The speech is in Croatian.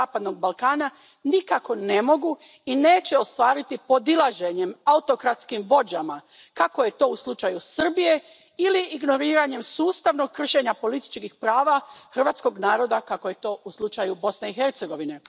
zapadnog Balkana nikako ne mogu i neće ostvariti podilaženjem autokratskim vođama kako je to u slučaju Srbije ili ignoriranjem sustavnog kršenja političkih prava hrvatskog naroda kako je to u slučaju Bosne i Hercegovine.